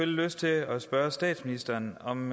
lyst til at spørge statsministeren om